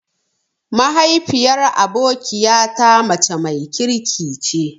Mahaifiyar abokiya ta mace mai kirki ce.